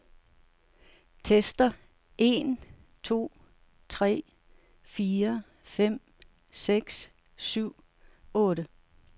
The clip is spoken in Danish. Tester en to tre fire fem seks syv otte.